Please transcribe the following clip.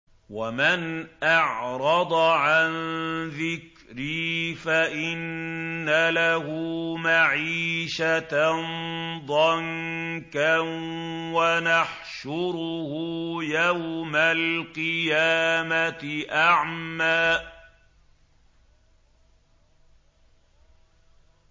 وَمَنْ أَعْرَضَ عَن ذِكْرِي فَإِنَّ لَهُ مَعِيشَةً ضَنكًا وَنَحْشُرُهُ يَوْمَ الْقِيَامَةِ أَعْمَىٰ